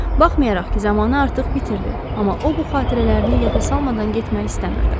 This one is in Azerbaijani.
Baxmayaraq ki, zamanı artıq bitirdi, amma o bu xatirələrini yada salmadan getmək istəmirdi.